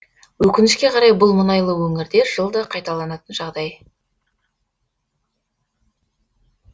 өкінішке қарай бұл мұнайлы өңірде жылда қайталанатын жағдай